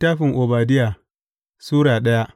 Obadiya Sura daya